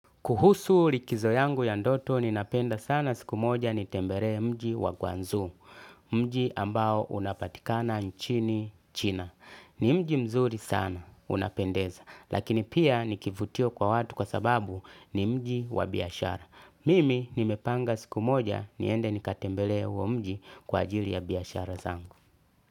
Kuhusu likizo yangu ya ndoto ni napenda sana siku moja nitembere mji wa gwanzu, mji ambao unapatikana nchini china. Ni mji mzuri sana, unapendeza, lakini pia ni kivutio kwa watu kwa sababu ni mji wa biashara. Mimi nimepanga siku moja niende nikatembele uo mji kwa ajili ya biashara zangu.